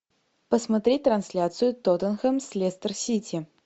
посмотреть трансляцию тоттенхэм с лестер сити